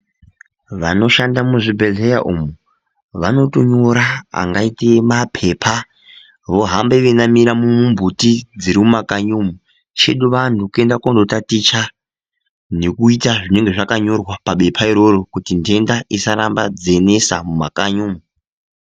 Vanoshanda muzvibhedhleya umo vanotonyora angaite maphepha vohambe veinamira mumumbiti dziri mumakanyi umo .Chedu vantu kuenda konotaticha nekuita zvinenge zvakanyorwa pabepha iroro kuti ntenda dzisaramba dzeinesa mumakanyi umo.